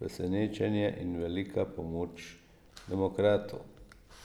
presenečenje in velika pomoč demokratu.